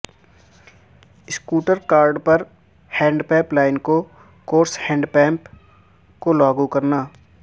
score card پر handpump line کو course handpump کو لاگو کرنا